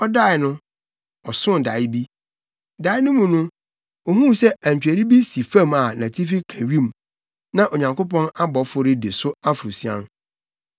Ɔdae no, ɔsoo dae bi. Dae no mu no, ohuu sɛ antweri bi si fam a nʼatifi ka wim, na Onyankopɔn abɔfo redi so aforosian.